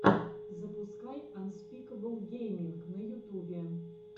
запускай анспикэбл гейминг на ютубе